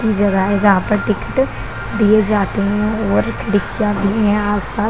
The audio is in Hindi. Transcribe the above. ये जगह है जहां पे टिकटे दिए जाते है और रिक्शा भी है यहां आस-पास --